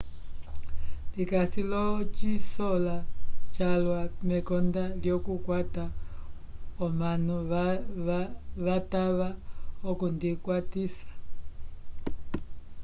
ndikasi l'ocisola calwa mekonda lyokukwata omanu vatava okundikwatisa